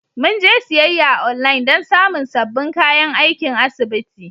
Mun je siyayya a online don samun sabbin kayan aikin asibiti.